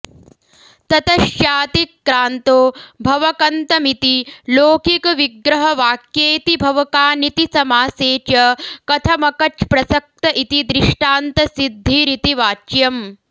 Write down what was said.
ततश्चाऽतिक्रान्तो भवकन्तमिति लोकिकविग्रहवाक्येऽतिभवकानिति समासे च कथमकच्प्रसक्त इति दृष्टान्तऽसिद्धिरिति वाच्यम्